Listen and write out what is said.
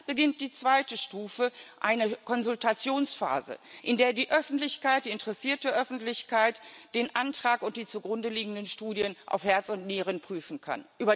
Und dann beginnt die zweite Stufe eine Konsultationsphase, in der die Öffentlichkeit, die interessierte Öffentlichkeit, den Antrag und die zugrundeliegenden Studien auf Herz und Nieren prüfen kann.